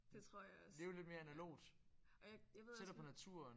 Det tror jeg også ja og jeg jeg ved også